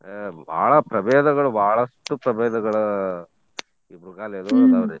A ಬಾಳ ಪ್ರಭೇದಗಳು ಬಾಳಷ್ಟು ಪ್ರಬೇದಗಳು ಈ ಮೃಗಾಲಯದೋಳ್ಗ ಅವ್ರಿ .